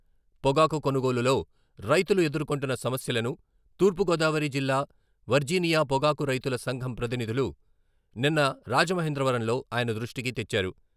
పొగాకు కొనుగోలులో రైతులు ఎదుర్కొంటున్న సమస్యలను, తూర్పుగోదావరి జిల్లా వర్జీనియా పొగాకు రైతుల సంఘం ప్రతినిధులు నిన్న రాజమహేంద్రవరంలో ఆయన దృష్టికి తెచ్చారు.